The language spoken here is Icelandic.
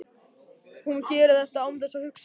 Hún gerir þetta án þess að hugsa.